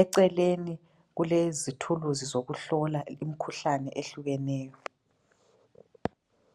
eceleni kulomtshina wokuhlola umkhuhlane ohlukaneyo.